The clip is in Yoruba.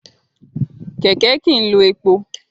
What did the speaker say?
Kẹ̀kẹ́ kì í lo epo.